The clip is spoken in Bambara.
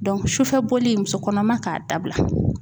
sufɛ bɔli muso kɔnɔma k'a dabila